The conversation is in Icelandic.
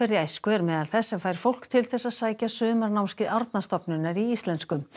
í æsku er meðal þess sem fær fólk til þess að sækja sumarnámskeið Árnastofnunar í íslensku